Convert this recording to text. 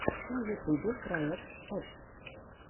на ютюбе проект экс